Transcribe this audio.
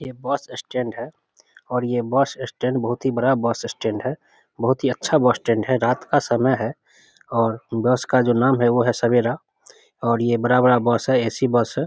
ये bus stand है और ये बस स्टैंड बहुत ही बड़ा बस स्टैंड है बहुत ही अच्छा बस स्टैंड है रात का समय है और बस का जो नाम है सवेरा ये बड़ा-बड़ा बस है ए.सी. बस है।